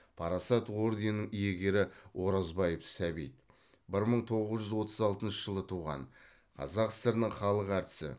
парасат орденінің иегері оразбаев сәбит бір мың тоғыз жүз отыз алтыншы жылы туған қазақ сср інің халық әртісі